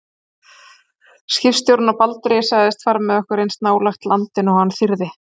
Skipstjórinn á Baldri sagðist fara með okkur eins nálægt landi og hann þyrði.